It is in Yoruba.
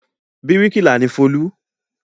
Bíríkìlà ni Folú.